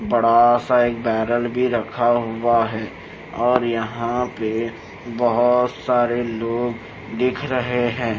बड़ा सा एक बैरल भी रखा हुआ है और यहां पे बहुत सारे लोग दिख रहे हैं।